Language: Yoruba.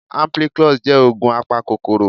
Ampiclox jẹ́ ògùn apakòkòrò